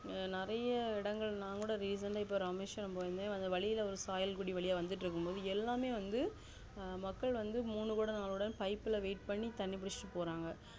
நெறைய இடங்கள் நா கூட recent ஆ இராமேஸ்வரம் போயிருந்தேன் வழிஇல்ல சாயல்க்குடி வழியாவந்துட்டு இருக்கும் போது எல்லாமே வந்து அஹ் மக்கள் வந்து மூணு கொடம் நாலு கொடம் pipe ல wait பண்ணி தண்ணி புடிச்சிட்டு போறாங்க